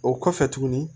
O kɔfɛ tuguni